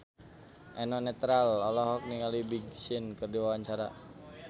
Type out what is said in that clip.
Eno Netral olohok ningali Big Sean keur diwawancara